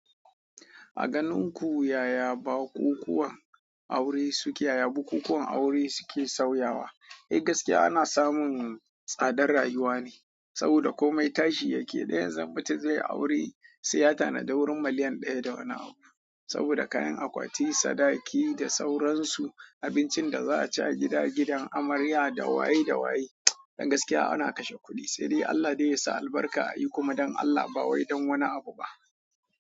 A ganin ku yaya bukukuwan aure suke yaya bukukuwan aure suke sauyawa? Don gaskiya ana samun tsadar rayuwa ne, saboda komai tashi yake. Diyan zan bita zai yi aure sai ya tanada wurin miliyan ɗaya da wani abu. Saboda kayan akwati, sadaki da sauransu abincin da za a ci a gida gidan amarya da waye da waye. Don gaskiya ana kashe kuɗi, sai dai Allah zai yi sa albarka a yi kuma don Allah ba wai don wani abu ba.